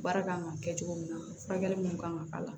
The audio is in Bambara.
Baara kan ka kɛ cogo min na furakɛli mun kan ka k'a la